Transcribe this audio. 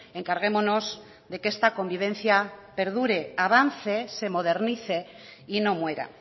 encarguémonos de que esta convivencia perdure avance se modernice y no muera